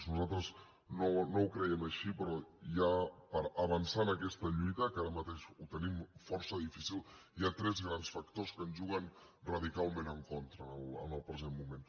nosaltres no ho creiem així però ja per avançar en aquesta lluita que ara mateix ho tenim força difícil hi ha tres grans factors que ens juguen radicalment en contra en el present moment